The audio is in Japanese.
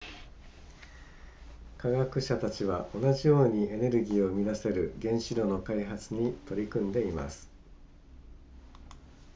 科学者たちは同じようにエネルギーを生み出せる原子炉の開発に取り組んでいます